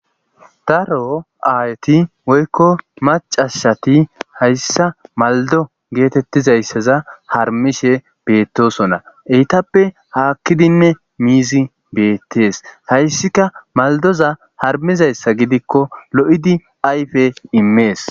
Daro aayti woykko macashati hayssa maldo geetettizayssaza harmishe beettosona eytappe haakkidinne miizi beettees hayssika maldoza harmizayssa gidikko lo7idi ayfe immees.